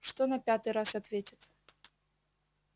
что на пятый раз ответит